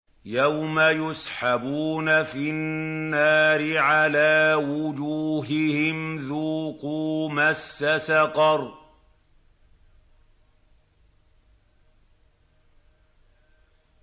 يَوْمَ يُسْحَبُونَ فِي النَّارِ عَلَىٰ وُجُوهِهِمْ ذُوقُوا مَسَّ سَقَرَ